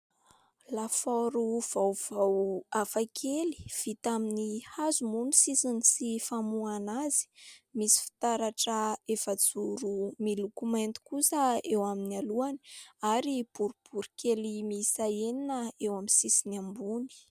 Lafaoro vaovao hafakely, vita amin'ny hazo moa ny sisiny sy famoahana azy, misy fitaratra efajoro miloko mainty kosa eo amin'ny alohany ary boribory kely miisa enina eo amin'ny sisiny ambony.